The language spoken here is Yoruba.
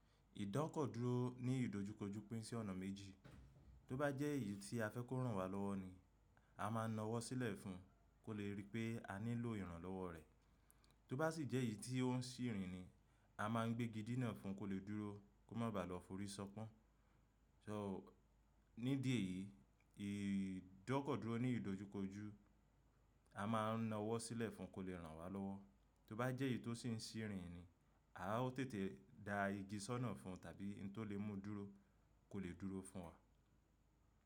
Ìdọ́kọ̀dúró ní ìdojúkojú pín sí ọ̀nà méjì. Tó bá jẹ́ èyí tí a fẹ́ kó ràn wá lọ́wọ́ ni, a má a nawọ́ sílẹ̀ fún un kó lè rí pé a nílò ìrànlọ́wọ́ rẹ̀. Tó bá sì jẹ́ èyí tí ń ó sì rin ni, a má a gbé igi di náà fún un kó lè dúró kó má baà lọ forí ṣọpọ́n. Ṣọ́ò, ní di èyí, ìdọ́kọ̀dúró ní ìdojúkojú, a má a nawọ́ sílẹ̀ fún un kó lè ràn wá lọ́wọ́. Tó bá jẹ́ èyí tó sì ń sì rin ni, àwa ó tètè dá igi sọ́nà fún un tàbí ǹ tó lè mú un dúró kó lè dúró fún wa.